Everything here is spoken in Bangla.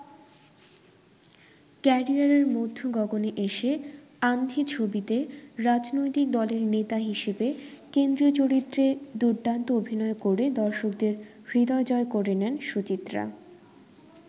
ক্যারিয়ারের মধ্যগগণে এসে ‘আন্ধি’ ছবিতে রাজনৈতিক দলের নেতা হিসেবে কেন্দ্রীয় চরিত্রে দুর্দান্ত অভিনয় করে দর্শকদের হৃদয় জয় করে নেন সুচিত্রা।